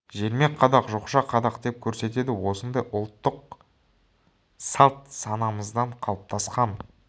желме қадақ жоқша қадақ деп көрсетеді осындай ұлттық салт-санамыздан қалыптасқан